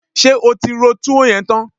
Ṣé o ti ro túwó yẹn tán?